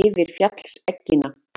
yfir fjallseggina.